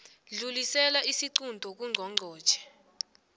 dlulisela isiqunto kungqongqotjhe